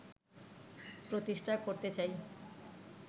প্রতিষ্ঠা করতে চাই